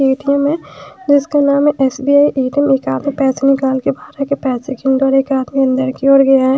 ATM है जिसका नाम है एस_बी_आई ए_टी_एम एक आदमी पैसे निकाल के बाहर जाके के पैसे गिन रहा और एक आदमी अंदर की ओर गया--